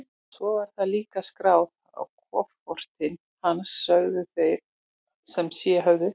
Svo var það líka skráð á kofortin hans, sögðu þeir sem séð höfðu.